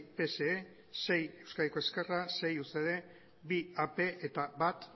pse sei euskadiko ezkerra sei ucd bi ap eta bat